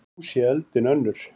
Nú sé öldin önnur.